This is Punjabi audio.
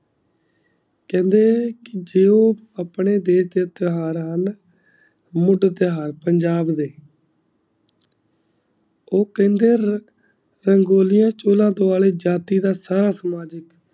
ਕਹ੍ਨ੍ਡੇ ਕੇ ਜੇ ਊ ਅਪਨੇ ਡੇਬ ਦਯ੍ਟੀ ਇਤ੍ਹਾਰ ਹੁਣ ਦੇ ਤੇ ਇਤ੍ਹਾਰ ਪੰਜਾਬ ਦੇ ਊ ਕਹ੍ਨ੍ਡੇ ਆਰ ਰੰਗੋਲੀ ਵਿਚ ਚੂਲਾ ਦਿਵਾਲੀ ਜਾਤੀ ਦਾ ਸਾਰਾ ਸਮਾਜਿਕ